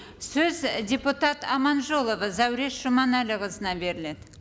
сөз і депутат аманжолова зәуреш жұманәліқызына беріледі